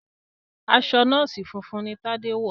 aṣọ nọọsi funfun ní Tade wọ.